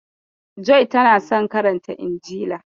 Joy tana son karanta injila.